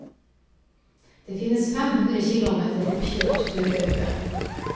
Det finnes fem kilometer oppkjørt turløype.